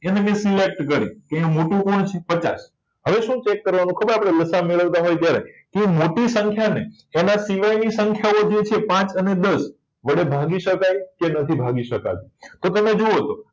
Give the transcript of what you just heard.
એને મેં select કરી અને મોટું કોણ છે પચાસ હવે શું ચેક કરવાનું ખબર લસાઅ મેળવતા હોય ત્યારે તે મોટી સંખ્યાને એના સિવાયની સંખ્યાઓ છે પાંચ અને દસ વડે ભાગી શકાય કે નથી ભાગી શકાતું તો તમે જુઓ તો